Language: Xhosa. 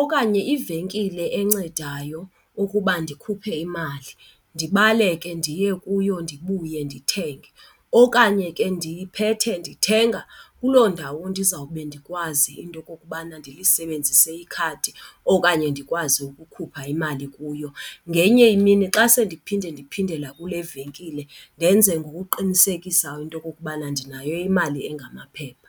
okanye ivenkile encedayo ukuba ndikhuphe imali, ndibaleke ndiye kuyo ndibuye ndithenge. Okanye ke ndiphethe ndithenga kuloo ndawo ndizawube ndikwazi into okokubana ndilisebenzise ikhadi okanye ndikwazi ukukhupha imali kuyo. Ngenye imini xa sele ndiphinde ndiphindela kule venkile ndenze ngokuqinisekisa into yokokubana ndinayo imali engamaphepha.